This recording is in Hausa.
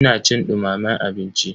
Ina cin dumamen abinci.